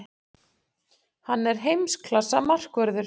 Hann er heimsklassa markvörður.